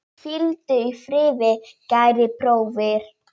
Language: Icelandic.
Hvíldu í friði, kæri bróðir.